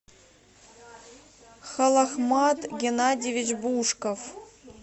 холахмад геннадьевич бушков